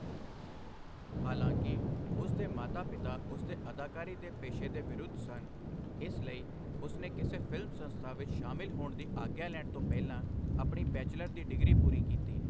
ਹਾਲਾਂਕਿ, ਉਸ ਦੇ ਮਾਤਾ ਪਿਤਾ ਉਸ ਦੇ ਅਦਾਕਾਰੀ ਦੇ ਪੇਸ਼ੇ ਦੇ ਵਿਰੁੱਧ ਸਨ ਇਸ ਲਈ, ਉਸ ਨੇ ਕਿਸੇ ਫਿਲਮ ਸੰਸਥਾ ਵਿੱਚ ਸ਼ਾਮਲ ਹੋਣ ਦੀ ਆਗਿਆ ਲੈਣ ਤੋਂ ਪਹਿਲਾਂ ਆਪਣੀ ਬੈਚਲਰ ਦੀ ਡਿਗਰੀ ਪੂਰੀ ਕੀਤੀ।